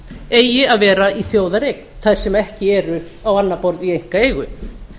eigi að vera í þjóðareign þær sem ekki eru á annað borð í einkaeigu